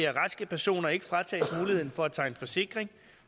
raske personer ikke fratages muligheden for at tegne forsikring